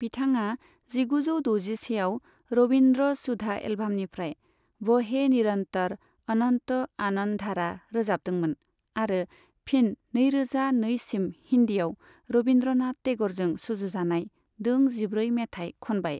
बिथाङा जिगुजौ द'जिसेआव रवीन्द्र सुधा एल्बामनिफ्राय 'ब'हे निरन्तर' अनन्त आनन्धारा' रोजाबदोंमोन आरो फिन नैरोजा नैसिम हिन्दीआव रवीन्द्रनाथ टेगरजों सुजुजानाय दों जिब्रै मेथाय खनबाय।